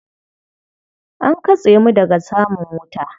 An katse mu daga samun wuta.